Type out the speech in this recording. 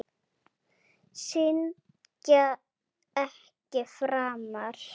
Syndga ekki framar.